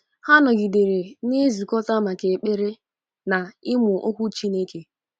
Ha nọgidere na-ezukọta maka ekpere na ịmụ Okwu Chineke.